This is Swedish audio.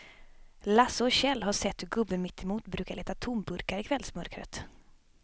Lasse och Kjell har sett hur gubben mittemot brukar leta tomburkar i kvällsmörkret.